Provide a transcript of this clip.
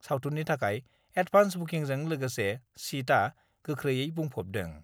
सावथुननि थाखाय एडभान्स बुकिंजों लोगोसे सिटआ गोख्रैयै बुंफबदों।